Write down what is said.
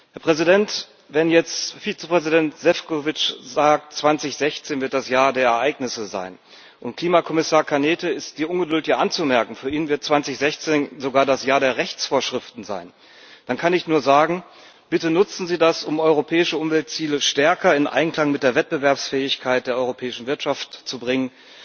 Herr Präsident, wenn jetzt Vizepräsident Šefčovič sagt, 2016 wird das Jahr der Ereignisse sein und Klimakommissar Cañete ist die Ungeduld ja anzumerken, für ihn wird 2016 sogar das Jahr der Rechtsvorschriften sein dann kann ich nur sagen Bitte nutzen Sie das, um europäische Umweltziele stärker in Einklang mit der Wettbewerbsfähigkeit der europäischen Wirtschaft zu bringen.